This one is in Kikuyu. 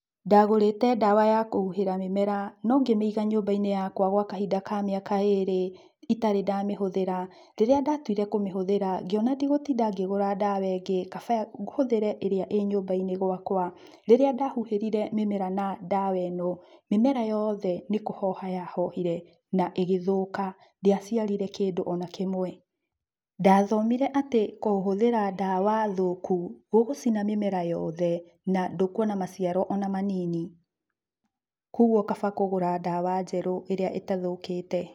Ndagũrĩte ndawa ya kũhuhĩra mĩmera no ngĩmĩiga nyũmba-inĩ gwa kahinda ka mĩaka ĩrĩ itarĩ ndamĩhũthĩra. Rĩrĩa ndatuire kũmĩhũthĩra ngĩona ndigũtinda ngĩgũra ndawa ĩngĩ kaba hũthĩre ĩrĩa ĩ nyũmba-inĩ gwakwa. Rĩrĩa ndahuhĩrire mĩmera na ndawa ĩno, mĩmera yothe nĩ kũhoha yahohire na ĩgĩthũka, ndĩaciarire kĩndũ ona kĩmwe. Ndathomire atĩ kũhũthĩra ndawa thũku gũgũcina mĩmera yothe na ndũkuona maciaro ona manini, kwoguo kaba kũgũra ndawa njerũ ĩrĩa ĩtathũkĩte.